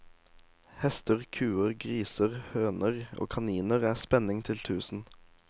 Hester, kuer, griser, høner og kaniner er spenning til tusen.